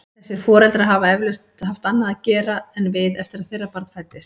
Þessir foreldrar hafa eflaust haft annað að gera en við eftir að þeirra barn fæddist.